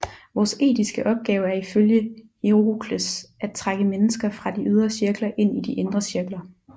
Vores etiske opgave er ifølge Hierokles at trække mennesker fra de ydre cirkler ind i de indre cirkler